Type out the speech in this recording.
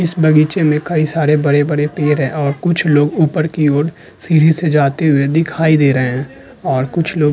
इस बगीचे मे कई सारे बड़े बड़े पेड़ हैं और कुछ लोग ऊपर की और सीढ़ी से जाते हुए दिखाई दे रहे हैं और कुछ लोग --